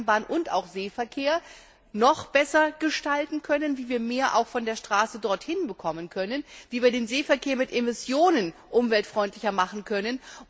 Eisenbahn und auch Seeverkehr, noch besser gestalten können, wie wir mehr von der Straße dorthin bekommen können, wie wir den Seeverkehr in punkto Emissionen umweltfreundlicher machen können.